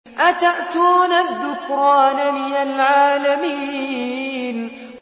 أَتَأْتُونَ الذُّكْرَانَ مِنَ الْعَالَمِينَ